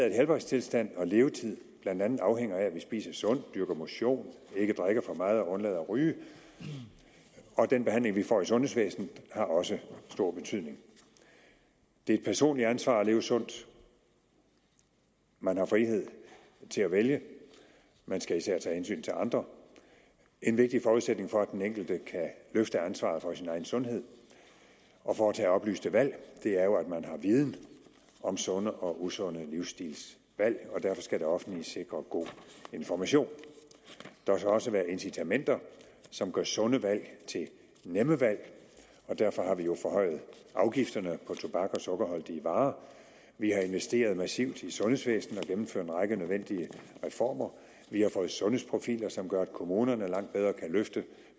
at helbredstilstand og levetid blandt andet afhænger af at vi spiser sundt dyrker motion ikke drikker for meget og undlader at ryge og den behandling vi får i sundhedsvæsenet har også stor betydning det er et personligt ansvar at leve sundt man har frihed til at vælge man skal især tage hensyn til andre en vigtig forudsætning for at den enkelte kan løfte ansvaret for sin egen sundhed og foretage oplyste valg er jo at man har viden om sunde og usunde livsstilsvalg og derfor skal det offentlige sikre god information der skal også være incitamenter som gør sunde valg til nemme valg og derfor har vi jo forhøjet afgifterne på tobak og sukkerholdige varer vi har investeret massivt i sundhedsvæsenet og gennemført en række nødvendige reformer vi har fået sundhedsprofiler som gør at kommunerne langt bedre kan løfte